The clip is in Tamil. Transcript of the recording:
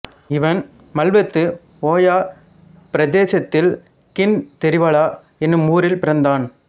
இவன் மல்வத்து ஓயா பிரதேசத்தில் கின்தெரிவல என்னும் ஊரில் பிறந்தான்